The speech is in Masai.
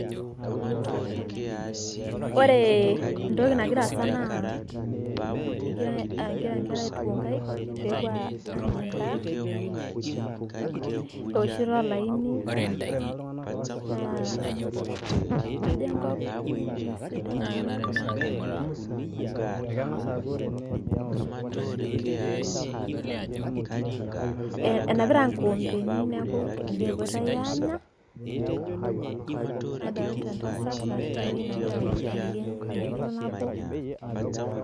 Ore entoki nagira aasa naa, kegira nkera aituku nkaik pepuo anya endaa, ewoshito olaini naa kajo enkop nemesidai amu, enapita nkoompeni neeku endaa epoitoi aanya, nadolta entasat natii inewei nagira aliki tenchoto nabo.